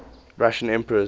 russian emperors